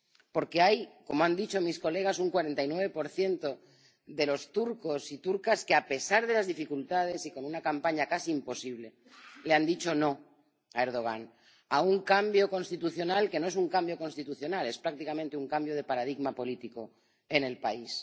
Porque —como han dicho mis colegas— hay un 49 de los turcos y turcas que, a pesar de las dificultades y con una campaña casi imposible, le han dicho no a Erdogan, a un cambio constitucional que no es un cambio constitucional, es prácticamente un cambio de paradigma político en el país.